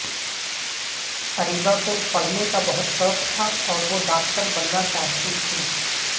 اریبہ کو پڑھنے کا بہت شوق تھا اور وہ ڈاکٹر بننا چاہتی تھیں